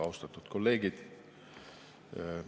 Austatud kolleegid!